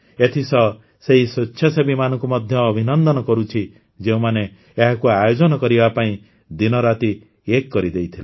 ଏଥିସହ ସେହି ସ୍ୱେଚ୍ଛାସେବୀମାନଙ୍କୁ ମଧ୍ୟ ଅଭିନନ୍ଦନ କରୁଛି ଯେଉଁମାନେ ଏହାକୁ ଆୟୋଜନ କରିବା ପାଇଁ ଦିନରାତି ଏକ କରିଦେଇଥିଲେ